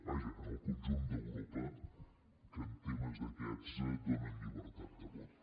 vaja en el conjunt d’europa que en temes d’aquests donen llibertat de vot